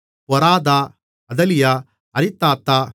பொராதா அதலியா அரிதாத்தா